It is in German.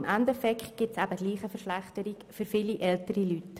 Im Endeffekt kommt es gleichwohl zu einer Verschlechterung für viele ältere Leute.